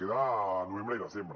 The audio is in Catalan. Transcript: li queda novembre i desembre